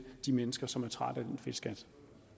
de mennesker som er trætte af den fedtskat